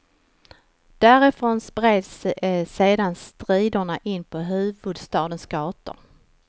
Därifrån spreds sedan striderna in på huvudstadens gator.